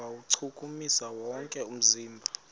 kuwuchukumisa wonke umzimba